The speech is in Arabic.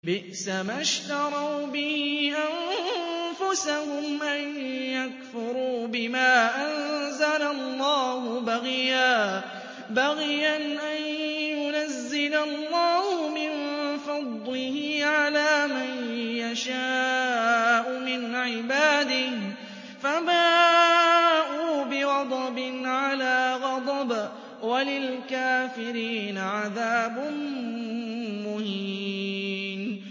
بِئْسَمَا اشْتَرَوْا بِهِ أَنفُسَهُمْ أَن يَكْفُرُوا بِمَا أَنزَلَ اللَّهُ بَغْيًا أَن يُنَزِّلَ اللَّهُ مِن فَضْلِهِ عَلَىٰ مَن يَشَاءُ مِنْ عِبَادِهِ ۖ فَبَاءُوا بِغَضَبٍ عَلَىٰ غَضَبٍ ۚ وَلِلْكَافِرِينَ عَذَابٌ مُّهِينٌ